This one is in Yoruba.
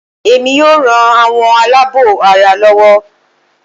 Èmi yóò ran àwọn aláàbọ̀ ara lọwọ́